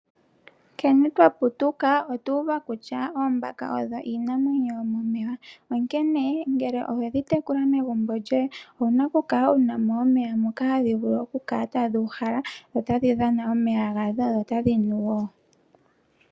Nkene twa putuka otuuva kutya oombaka odho iinamwenyo yomomeya onkene ngele owedhi tekula megumbo lyoye owuna okukala wunamo omeya moka tadhi vulu okukala tadhuuhala dho tadhi dhana omeya gawo dho tadhi nu woo.